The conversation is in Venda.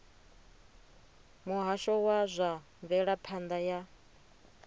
muhasho wa zwa mvelaphanda ya